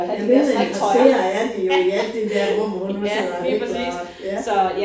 Jo mindre interesserede er de jo i alt det der mormor hun har sidder og hækler og ja